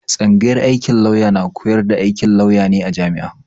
Tsanyagar aikin lauya na koyar da aikin lauya ne a jami'a.